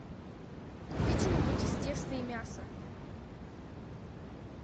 купи что нибудь из теста и мяса